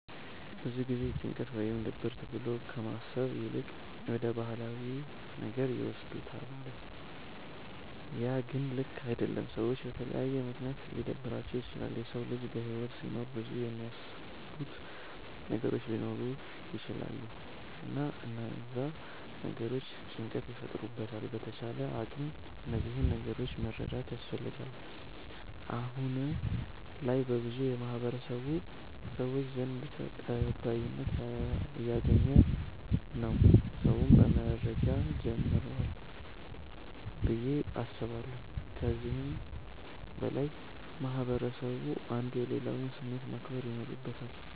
ብዙ ጊዜ ጭንቀት ወይም ድብርት ብሎ ከማሰብ ይልቅ ወደ ባህላዊ ነገር ይወስዱታለ ያ ግን ልክ አደለም። ሰዎች በተለያየ ምክንያት ሊደብራቸዉ ይችላል። የሰዉ ልጅ በህይወት ሲኖር ብዙ የሚያሳስቡት ነገሮች ሊኖሩ ይቸላሉ እና እነዛ ነገሮች ጭንቀት ይፈጥሩበታል በተቻለ አቅም እነዚህን ነገሮች መረዳት ያስፈልጋል። አሁነ ላይ በብዙ የማህበረሰቡ ሰዎች ዘንድ ተቀባይነት እያገኝ ነዉ ሰዉም መረዳት ጀምሯል ብዬ አስባለሁ። ከዚህም በላይ ማህበረስቡ አንዱ የሌላዉን ስሜት ማክበር ይኖርበታል።